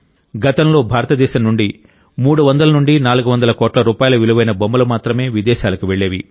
గతంలో భారతదేశం నుండి 300400 కోట్ల రూపాయల విలువైన బొమ్మలు మాత్రమే విదేశాలకు వెళ్ళేవి